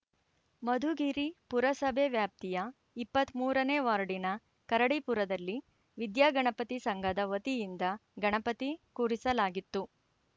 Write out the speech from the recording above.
ಮಧುಗಿರಿ ಪುರಸಭೆ ವ್ಯಾಪ್ತಿಯ ಇಪ್ಪತ್ತ್ ಮೂರನೇ ವಾರ್ಡಿನ ಕರಡಿಪುರದಲ್ಲಿ ವಿದ್ಯಾಗಣಪತಿ ಸಂಘದ ವತಿಯಿಂದ ಗಣಪತಿ ಕೂಡಿಸಲಾಗಿತ್ತು